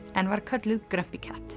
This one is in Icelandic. en var kölluð Grumpy